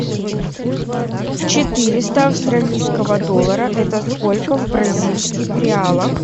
четыреста австралийского доллара это сколько в бразильских реалах